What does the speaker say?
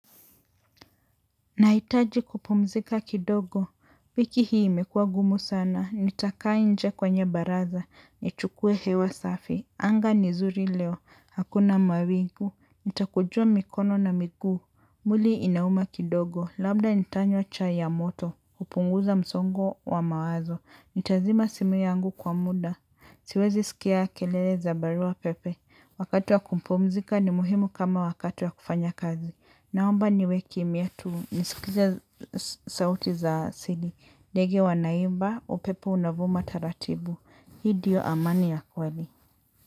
Naitaji kupumzika kidogo, piki hii imekuwa gumu sana, nitakaa inje kwenye baraza, nichukue hewa safi, anga ni zuri leo, hakuna mawigu, nitakujua mikono na miguu mwili inauma kidogo, labda nitanywa chai ya moto kupunguza msongo wa mawazo, nitazima simu yangu kwa muda siwezi skia kelele za barua pepe wakati wa kupumzika ni muhimu kama wakati wa kufanya kazi, naomba niwe kimya tu. Nisikize sauti za asili. Ndege wanaimba, upepo unavuma taratibu. Hii dio amani ya kweli.